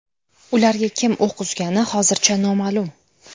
Ularga kim o‘q uzgani hozircha noma’lum.